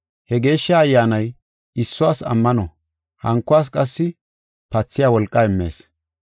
He Geeshsha Ayyaanay issuwas ammano, hankuwas qassi pathiya wolqaa immees.